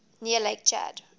near lake chad